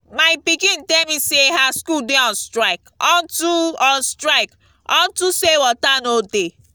my pikin tell me say her school dey on strike unto on strike unto say water no dey